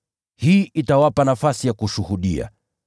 Hii itawapa nafasi ya kushuhudia.